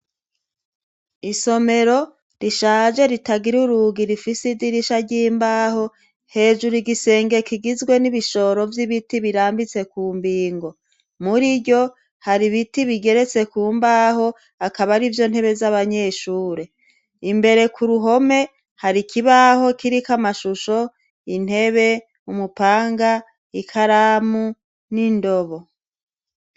Isomero rishaje ritagira uruga irifise idirisha ry'imbaho hejuru igisenge kigizwe n'ibishoro vy'ibiti birambitse ku mbingo muri ryo hari ibiti bigeretse ku mbaho akaba ari vyo ntebe z'abanyeshure imbere ku ruhome hari ikibaho kii iki amashusho intebe umupanga ikaramu n'indobo.